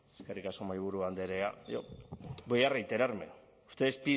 eskerrik asko mahaiburu andrea yo voy a reiterarme ustedes